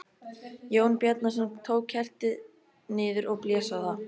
Jón Bjarnason tók kertið niður og blés á það.